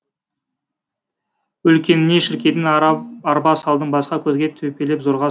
үлкеніне шіркейдің арба салдым басқа көзге төпелеп зорға